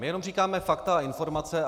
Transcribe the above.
My jenom říkáme fakta a informace.